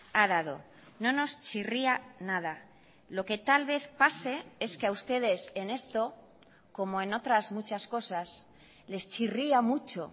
ha dado no nos chirría nada lo que tal vez pase es que a ustedes en esto como en otras muchas cosas les chirría mucho